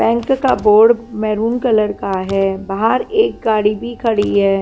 Bank का board maroon colour का है बाहर एक गाड़ी भी खड़ी हैं।